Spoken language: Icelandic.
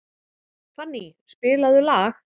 Fanny, spilaðu lag.